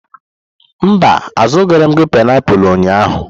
Mba, azụrụghị m painiapulu ụnyahụ.